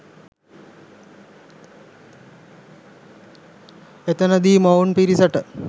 එතනදි මොවුන් පිරිසට